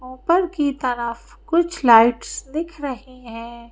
ऊपर की तरफ कुछ लाइट्स दिख रही हैं।